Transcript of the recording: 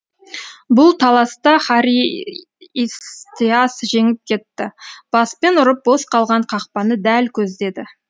бұл таласта харистеас жеңіп кетті баспен ұрып бос қалған қақпаны дәл көздеді